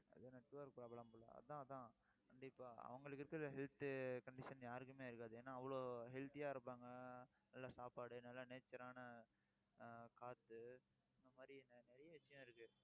அது network problem போல அதான் அதான். கண்டிப்பா அவங்களுக்கு இருக்கிற health condition யாருக்குமே இருக்காது. ஏன்னா, அவ்ளோ healthy ஆ இருப்பாங்க நல்ல சாப்பாடு நல்ல nature ஆன ஆஹ் காத்து இந்த மாதிரி நிறைய விஷயம் இருக்கு